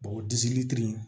o disi litiri